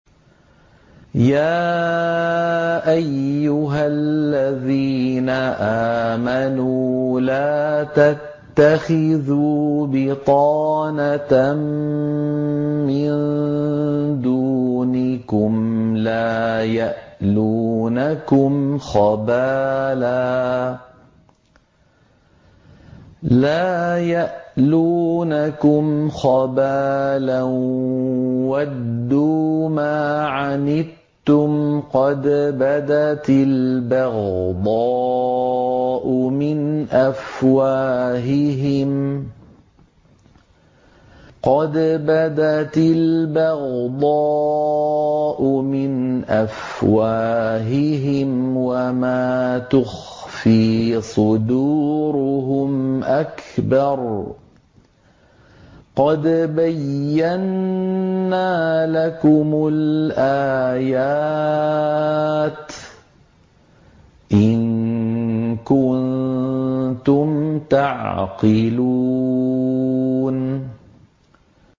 يَا أَيُّهَا الَّذِينَ آمَنُوا لَا تَتَّخِذُوا بِطَانَةً مِّن دُونِكُمْ لَا يَأْلُونَكُمْ خَبَالًا وَدُّوا مَا عَنِتُّمْ قَدْ بَدَتِ الْبَغْضَاءُ مِنْ أَفْوَاهِهِمْ وَمَا تُخْفِي صُدُورُهُمْ أَكْبَرُ ۚ قَدْ بَيَّنَّا لَكُمُ الْآيَاتِ ۖ إِن كُنتُمْ تَعْقِلُونَ